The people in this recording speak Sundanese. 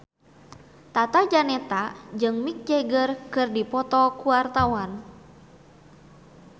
Tata Janeta jeung Mick Jagger keur dipoto ku wartawan